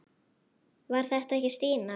Var þetta ekki Stína?